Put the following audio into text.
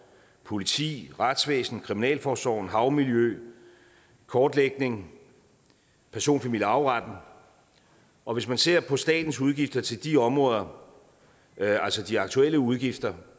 politi retsvæsen kriminalforsorg havmiljø kortlægning person familie og arveretten og hvis man ser på statens udgifter til de områder altså de aktuelle udgifter